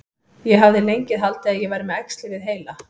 Ég hafði lengi haldið að ég væri með æxli við heila.